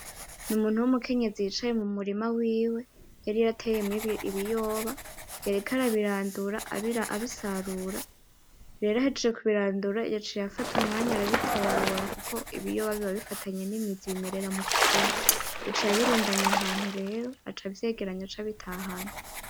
Numuntu w'umukenyenzi yicaye mu murima wiwe yari yateyemwo ibiyoba yariko arabirandura abisarura rero ahejeje kubirandura yaciye arafata umwanya arabitobora kuko ibiyoba biba bipfatanye nimizi bimerera mukuzimu yaciye abirundanya ahantu rero aca avyegeranya aca abitahana.